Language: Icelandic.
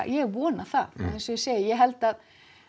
ég vona það eins og ég segi ég held að